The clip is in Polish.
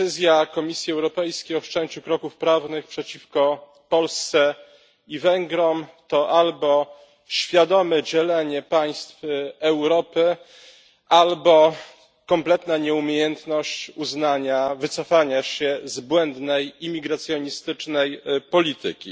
Decyzja Komisji Europejskiej o wszczęciu kroków prawnych przeciwko Polsce i Węgrom to albo świadome dzielenie państw Europy, albo kompletna nieumiejętność wycofania się z błędnej imigracjonistycznej polityki.